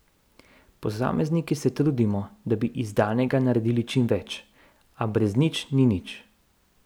Posamezniki se trudimo, da bi iz danega naredili čim več, a brez nič ni nič.